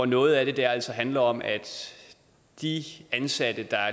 noget af det altså handler om at de ansatte der